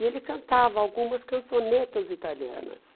E ele cantava algumas cançonetas italianas.